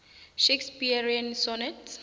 shakespearian sonnets